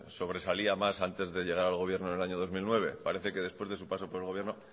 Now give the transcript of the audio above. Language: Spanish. sobresalía más antes de llegar al gobierno en el año dos mil nueve parece que después de su paso por el gobierno